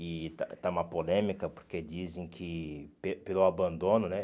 E está está uma polêmica porque dizem que pe pelo abandono, né?